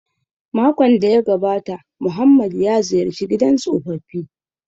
Makon da ya gabata Muhammad ya ziyarci gidan tsofaffi